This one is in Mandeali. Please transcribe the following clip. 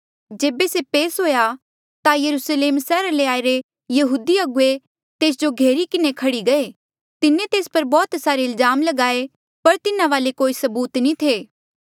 जेबे से पेस हुएया ता यरुस्लेम सैहरा ले आईरे यहूदी अगुवे तेस जो घेरी किन्हें खह्ड़ी गये तिन्हें तेस पर बौह्त सारे इल्जाम लगाये पर तिन्हा वाले कोई सबूत नी थे